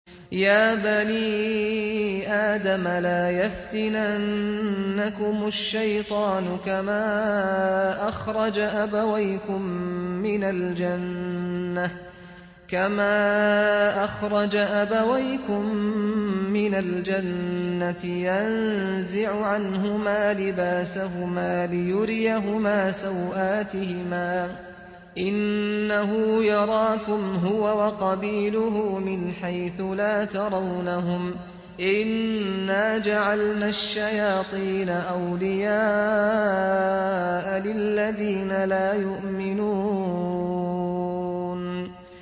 يَا بَنِي آدَمَ لَا يَفْتِنَنَّكُمُ الشَّيْطَانُ كَمَا أَخْرَجَ أَبَوَيْكُم مِّنَ الْجَنَّةِ يَنزِعُ عَنْهُمَا لِبَاسَهُمَا لِيُرِيَهُمَا سَوْآتِهِمَا ۗ إِنَّهُ يَرَاكُمْ هُوَ وَقَبِيلُهُ مِنْ حَيْثُ لَا تَرَوْنَهُمْ ۗ إِنَّا جَعَلْنَا الشَّيَاطِينَ أَوْلِيَاءَ لِلَّذِينَ لَا يُؤْمِنُونَ